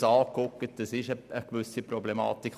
Diesbezüglich gibt es eine gewisse Problematik.